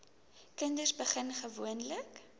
kinders begin gewoonlik